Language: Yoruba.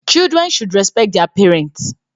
Children should respect their parents